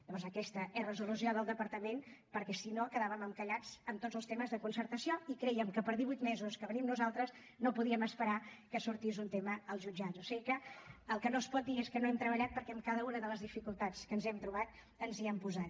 llavors aquesta és la resolució del departament perquè si no quedàvem encallats en tots els temes de concertació i creiem que per divuit mesos que venim nosaltres no podíem esperar que sortís un tema als jutjats o sigui que el que no es pot dir és que no hem treballat perquè en cada una de les dificultats que ens hem trobat ens hi hem posat